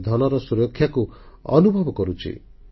ସେ ଧନର ସୁରକ୍ଷାକୁ ଅନୁଭବ କରୁଛି